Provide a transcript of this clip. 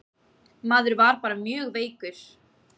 Maður var bara mjög veikur.